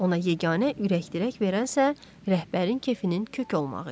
Ona yeganə ürəkdirək verənsə rəhbərin kefinin kök olmağı idi.